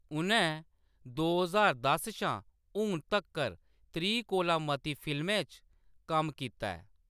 उʼनैं दो ज्हार दस शा हून तक्कर त्रीह् कोला मती फिल्में च कम्म कीता ऐ।